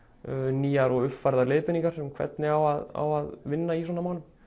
nýjar og uppfærðar leiðbeiningar um hvernig á að á að vinna í svona málum